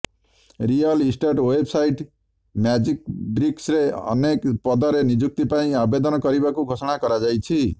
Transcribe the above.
real estate website ମ୍ୟାଜିକବ୍ରିକ୍ସରେ ଅନେକ ପଦରେ ନିଯୁକ୍ତି ପାଇଁ ଆବେଦନ କରିବାକୁ ଘୋଷଣା କରାଯାଇଛି